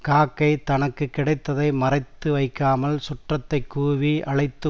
காக்கை தனக்கு கிடைத்ததை மறைத்து வைக்காமல் சுற்றத்தைக் கூவி அழைத்து